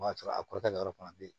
O y'a sɔrɔ a kɔrɔkɛ yɔrɔ fana bɛ yen